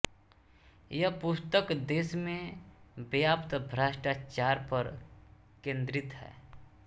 यह पुस्तक देश में व्याप्त भ्रष्टाचार पर केन्द्रित है